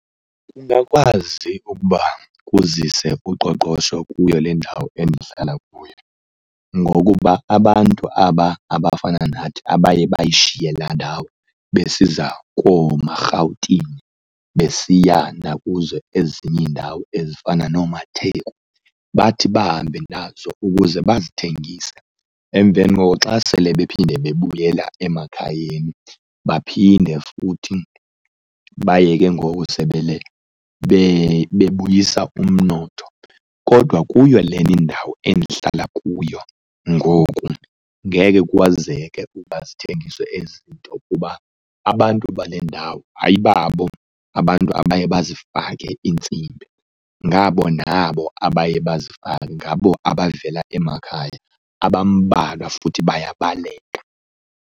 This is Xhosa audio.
Ungakwazi ukuba kuzise kuqoqosho kuyo le ndawo endihlala kuyo ngokuba abantu aba abafana nathi abaye bayishiye laa ndawo besiza koomaRhawutini besiya nakuzo ezinye iindawo ezifana noomaTheku, bathi bahambe nazo ukuze bazithengise emveni koko xa sele baphinde bebuyela emakhayeni baphinde futhi baye ke ngoku bebuyisa umnotho. Kodwa kuyo lena indawo endihlala kuyo ngoku ngeke kwazeke uba zithengiswe ezi zinto kuba abantu bale ndawo ayibabo abantu abaye bazifake iintsimbi, ngabo nabo abaye bazifake, ngabo abavela emakhaya, abambalwa futhi bayabaleka.